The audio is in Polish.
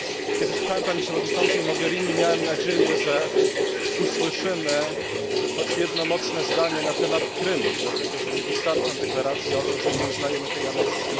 Kiedy słuchałem Pani Komisarz Mogherini, miałem nadzieję, że usłyszymy choć jedno mocne zdanie na temat Krymu, dlatego że nie wystarczą deklaracje o tym, że nie uznajemy tej aneksji.